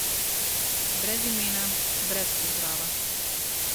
Brez imena, brez pozdrava.